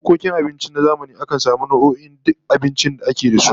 A bukkokin abinci na zamani akan samu masu zana duk nau'o'in abincin da ake da su